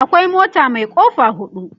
akwai mota Mai kofa hudu